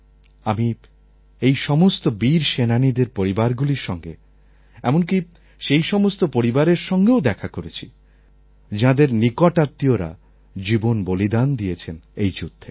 আমি এই সমস্ত বীর সেনানীদের পরিবারগুলির সঙ্গে এমনকি সেই সমস্ত পরিবারের সঙ্গেও দেখা করেছি যাঁদের নিকট আত্মীয়রা জীবন বলিদান দিয়েছেন এই যুদ্ধে